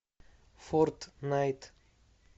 фортнайт